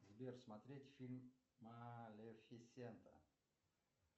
сбер смотреть фильм малефисента